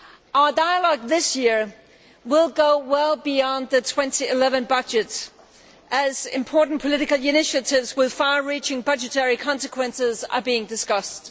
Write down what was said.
Our dialogue this year will go well beyond the 2011 budget, as important political initiatives with far reaching budgetary consequences are being discussed.